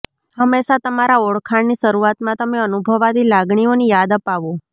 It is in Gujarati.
હંમેશા તમારા ઓળખાણની શરૂઆતમાં તમે અનુભવાતી લાગણીઓની યાદ અપાવો